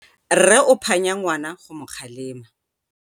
rre o phanya ngwana go mo kgalema